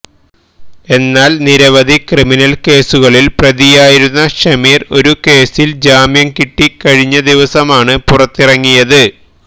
എന്നാല് നിരവധി ക്രിമിനല് കേസുകളില് പ്രതിയായിരുന്ന ഷമീര് ഒരു കേസില് ജാമ്യം കിട്ടി കഴിഞ്ഞദിവസമാണ് പുറത്തിറങ്ങിയത്